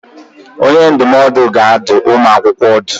Onye ndụmọdụ ga-adụ ụmụ akwụkwọ ọdụ.